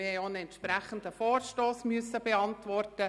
Wir mussten auch einen entsprechenden Vorstoss beantworten.